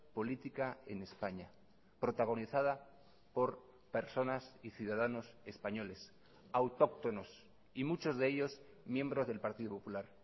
política en españa protagonizada por personas y ciudadanos españoles autóctonos y muchos de ellos miembros del partido popular